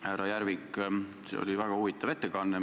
Härra Järvik, see oli väga huvitav ettekanne.